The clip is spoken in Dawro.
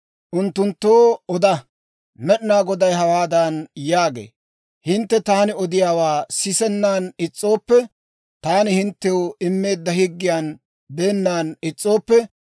«Unttunttoo oda; Med'inaa Goday hawaadan yaagee; ‹Hintte taani odiyaawaa sisennan is's'ooppe, taani hinttew immeedda higgiyan beennan is's'ooppe,